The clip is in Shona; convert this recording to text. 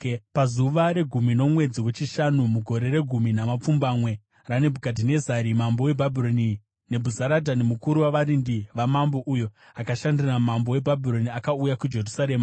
Pazuva regumi romwedzi wechishanu, mugore regumi namapfumbamwe raNebhukadhinezari mambo weBhabhironi, Nebhuzaradhani mukuru wavarindi vamambo, uyo akashandira mambo weBhabhironi, akauya kuJerusarema.